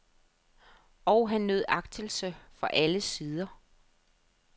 Og han nød agtelse fra alle sider.